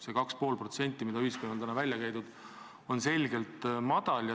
See 2,5%, mis on välja käidud, on selgelt vähe.